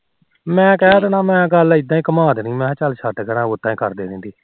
ਮੈ ਕਹਿ ਦੇਣਾ ਗੱਲ ਉਦਾ ਹੀ ਘੁਮਾ ਦੇਣੀ ਕ ਚੱਲ ਛੱਢ ਉਦਾ ਹੀ ਕਰਦੇ ਨੇ